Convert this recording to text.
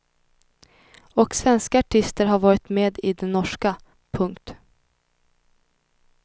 Och svenska artister har varit med i den norska. punkt